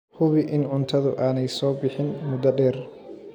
Hubi in cuntadu aanay soo bixin muddo dheer.